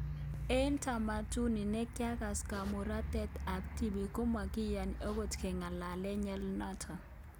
Eng tamaduni ne yaakse kamuratanet ab tibik komagiyani angot ke ng'alalee ng'alyonoto